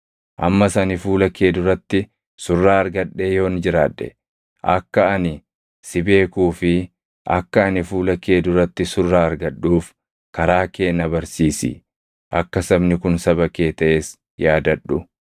Ammas ani fuula kee duratti surraa argadhee yoon jiraadhe, akka ani si beekuu fi akka ani fuula kee duratti surraa argadhuuf karaa kee na barsiisi; akka sabni kun saba kee taʼes yaadadhu.”